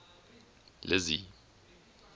lizzy